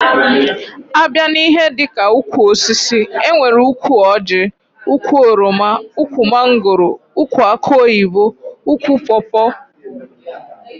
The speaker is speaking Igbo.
A bịa n'ihe dika ụkwụ osisi enwere ụkwụ Orji, ụkwụ oroma, ụkwụ mangóró, ụkwụ akụ oyibo, ụkwụ pópó wdg.